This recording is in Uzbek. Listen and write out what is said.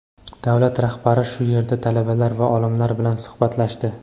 davlat rahbari shu yerda talabalar va olimlar bilan suhbatlashdi.